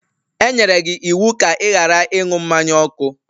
E enyere gị iwu ka ị ghara ịṅụ mmanya ọkụ!